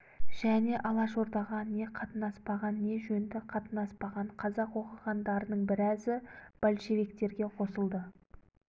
және алашордаға не қатынаспаған не жөнді қатынаспаған қазақ оқығандарының біразы большевиктерге қосылды